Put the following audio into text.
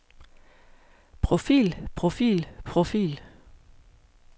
profil profil profil